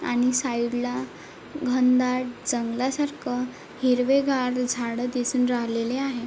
आणि साइड ला घनदाट जंगलासारख हिरवेगार झाड दिसून राहिलेले आहे.